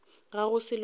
ga go selo seo o